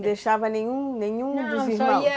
Não deixava nenhum nenhum dos irmãos? Não, só ia